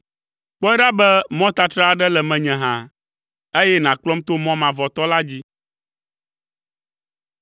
Kpɔe ɖa be mɔtatra aɖe le menye hã, eye nàkplɔm to mɔ mavɔtɔ la dzi.